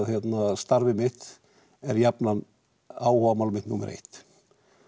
starfið mitt er jafnan áhugamál mitt númer eitt